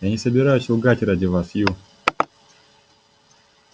я не собираюсь лгать ради вас ю